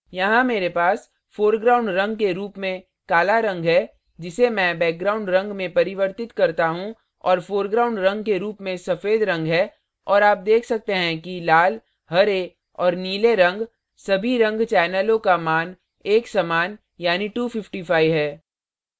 यहाँ here पास foreground रंग के रूप में काला रंग है जिसे मैं background रंग में परिवर्तित करता हूँ और foreground रंग के रूप में सफेद रंग है और आप देख सकते हैं कि लाल here और नीले रंग सभी रंग चैनलों का मान एक समान यानी 255 है